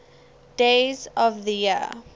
days of the year